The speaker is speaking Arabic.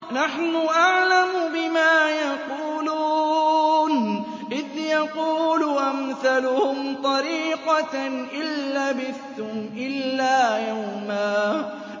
نَّحْنُ أَعْلَمُ بِمَا يَقُولُونَ إِذْ يَقُولُ أَمْثَلُهُمْ طَرِيقَةً إِن لَّبِثْتُمْ إِلَّا يَوْمًا